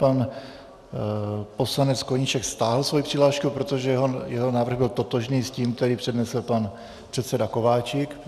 Pan poslanec Koníček stáhl svoji přihlášku, protože jeho návrh byl totožný s tím, který přednesl pan předseda Kováčik.